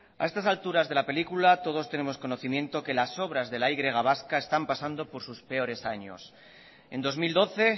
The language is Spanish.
a estas alturas de la película todos tenemos conocimiento que las obras de la y vasca están pasando por sus peores años en dos mil doce